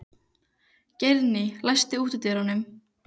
Geirný, læstu útidyrunum.